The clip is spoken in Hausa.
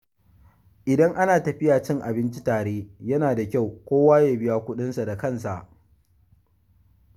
Idan ana tafiya cin abinci tare, yana da kyau kowa ya biya kuɗinsa da kansa.